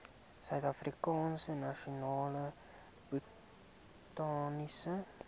suidafrikaanse nasionale botaniese